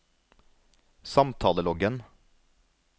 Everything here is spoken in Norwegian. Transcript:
samtaleloggen